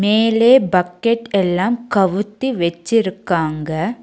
மேலே பக்கெட் எல்லாம் கவுத்தி வெச்சிருக்காங்க.